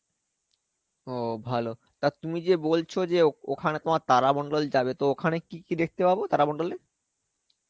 ও ভালো, তা তুমি যে বলছ যে, ওখানে তোমার তারা মন্ডল যাবে তো ওখানে কি কি দেখতে পাবো তারা মন্ডলে?